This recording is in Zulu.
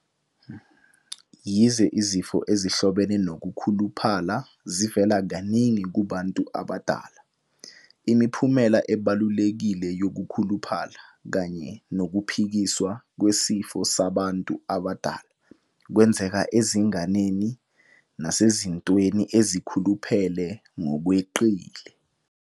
Yize izifo ezihlobene nokukhuluphala zivela kaningi kubantu abadala, imiphumela ebalulekile yokukhuluphala kanye nokuphikiswa kwesifo sabantu abadala kwenzeka ezinganeni nasezintweni ezikhuluphele ngokweqile.